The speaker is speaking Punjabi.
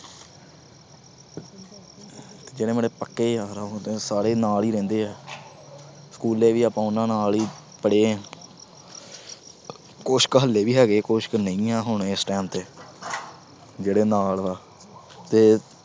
ਜਿਹੜੇ ਮੇਰੇ ਪੱਕੇ ਯਾਰ ਆ ਉਹ ਤਾਂ ਸਾਰੇ ਨਾਲ ਈ ਰਹਿੰਦੇ ਆ। school ਵੀ ਆਪਾ ਉਹਨਾਂ ਨਾਲ ਈ ਪੜ੍ਹੇ ਆ। ਕੁਛ ਕੁ ਹਾਲੇ ਵੀ ਹੈਗੇ, ਕੁਛ ਕੁ ਨਹੀਂ ਆ ਹੁਣ ਇਸ time ਤੇ ਜਿਹਨੇ ਨਾਲ ਆ ਤੇ